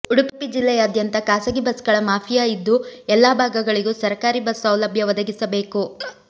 ಉಡುಪಿ ಜಿಲ್ಲೆಯಾದ್ಯಂತ ಖಾಸಗಿ ಬಸ್ಗಳ ಮಾಫಿಯಾ ಇದ್ದು ಎಲ್ಲಾ ಭಾಗಗಳಿಗೂ ಸರಕಾರಿ ಬಸ್ ಸೌಲಭ್ಯ ಒದಗಿಸಬೇಕು